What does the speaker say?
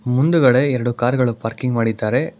ಮುಂದುಗಡೆ ಎರಡು ಕಾರ್ ಗಳು ಪಾರ್ಕಿಂಗ್ ಮಾಡಿದ್ದಾರೆ.